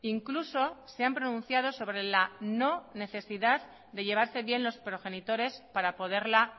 incluso se han pronunciado sobre la no necesidad de llevarse bien los progenitores para poderla